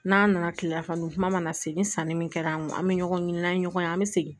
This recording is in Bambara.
N'an nana kilelafana dun kuma mana se ni sanni min kɛra an kun an bɛ ɲɔgɔn ɲini n'an ye ɲɔgɔn an bɛ segin